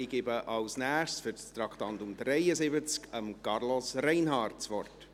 Ich gebe als Nächstes, für das Traktandum 73, Carlos Reinhard das Wort.